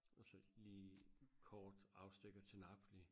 Og så lige kort afstikker til Napoli